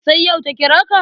Sai yau ta kira ka?